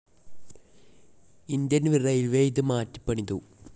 Indian railways ഇത് മാറ്റിപ്പണിതു.